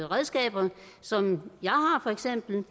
redskaber som for eksempel